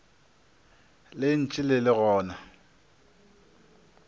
le ntše le le gona